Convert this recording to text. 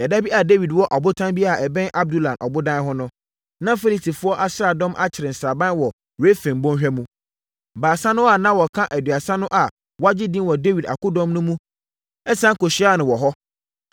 Ɛda bi a Dawid wɔ ɔbotan bi a ɛbɛn Adulam ɔbodan ho no, na Filistifoɔ asraadɔm akyere sraban wɔ Refaim bɔnhwa mu. Baasa no a na wɔka Aduasa no a wɔagye edin wɔ Dawid akodɔm mu no siane kɔhyiaa no wɔ hɔ.